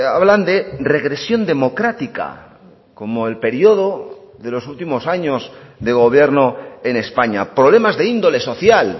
hablan de regresión democrática como el periodo de los últimos años de gobierno en españa problemas de índole social